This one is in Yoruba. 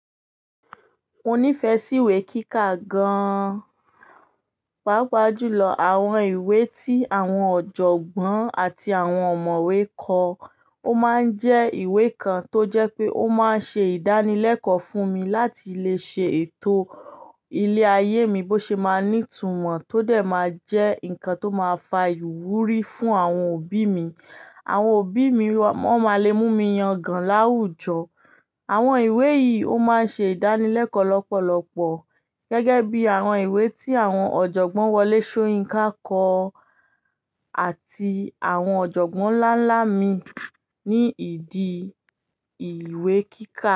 Mo nífẹ̀ẹ́ sí ìwé kíkà gan, pàápàá jùlọ àwọn ìwé tí àwọn ọ̀jọ̀gbọ́n àti àwọn ọ̀mọ̀wé kọ. Ó máa ń jẹ́ ìwé kan tó jẹ́ pé ó máa ń ṣe ìdánilẹ́kọ̀ọ́ fún mi láti le ṣe ètò ilé ayé mi bó ṣe máa ní ìtumọ̀ tó dẹ̀ máa jẹ́ nǹkan tó máa fa ìwúrí fún àwọn òbí mi. Àwọn òbí mi wọ́n máa le mú mi yàn gan láwùjọ. Àwọn ìwé yìí ó máa ń ṣe ìdánilẹ́kọ̀ọ́ lọ́pọ̀lọpọ̀ gẹ́gẹ́ bí i àwọn ìwé tí àwọn ọ̀jọ̀gbọ́n Wọlé Sóyinká kọ àti àwọn ọ̀jọ̀gbọ́n ńlá ńlá mi ní ìdí ìwé kíkà.